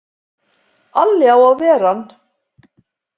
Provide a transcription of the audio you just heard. Alli á að ver ann!